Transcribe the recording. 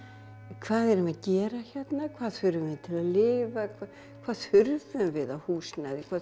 hvað erum við að gera hérna hvað þurfum við til að lifa hvað þurfum við af húsnæði hvað